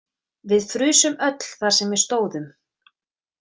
Við frusum öll þar sem við stóðum.